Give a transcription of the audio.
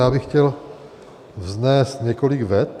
Já bych chtěl vznést několik vet.